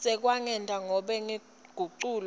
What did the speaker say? sekwengetwa nobe kuguculwa